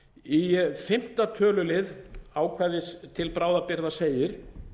í fimmta tölulið ákvæðis til bráðabirgða segir